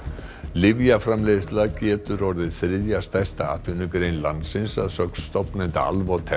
lyfjaframleiðsla getur orðið þriðja stærsta atvinnugrein landsins að sögn stofnanda